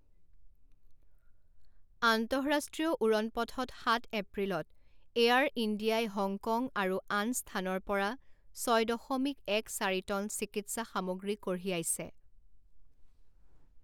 আন্তঃৰাষ্ট্ৰীয় উৰণ পথত সাত এপ্ৰিলত এয়াৰ ইণ্ডিয়াই হংকঙ আৰু আন স্থানৰ পৰা ছয় দশমিক এক চাৰি টন চিকিৎসা সামগ্ৰী কঢ়িয়াইছে।